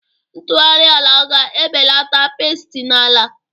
Ntughari ala ga-ebelata pesti na-ala.